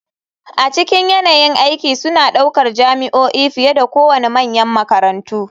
A cikin yanayin aiki suna ɗaukar jami'o'i fiye da kowane manyan makarantu.